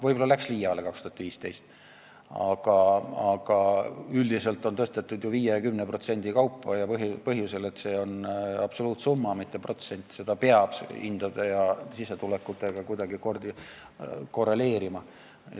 Võib-olla läks liiale 2015, aga üldiselt on tõstetud ju 5% ja 10% kaupa, põhjusel, et see on absoluutsumma, mitte protsent, seda peab hindade ja sissetulekutega kuidagi korreleerima.